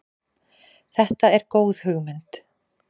Þetta er góð hugmynd.